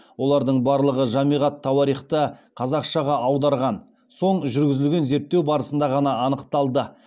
олардың барлығы жамиғ ат тауарихты қазақшаға аударған соң жүргізілген зерттеу барысында ғана анықталды